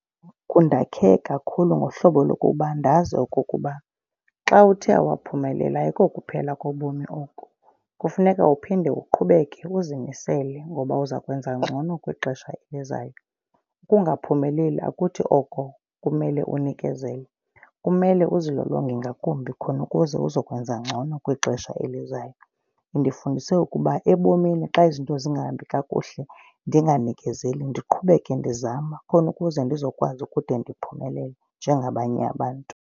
Kundakhe kakhulu ngohlobo lokuba ndazi okokuba xa uthe awaphumelela ayiko kuphela kobomi oko. Kufuneka uphinde uqhubeke uzimisele ngoba uza kwenza ngcono kwixesha elizayo. Ukungaphumeleli akuthi othi oko kumele unikezele. Kumele uzilolonge ngakumbi khona ukuze uzokwenza ngcono kwixesha elizayo. Indifundise ukuba ebomini xa izinto zingahambi kakuhle ndinganikezeli, ndiqhubeke ndizama khona ukuze ndizokwazi ukude ndiphumelele njengabanye abantu.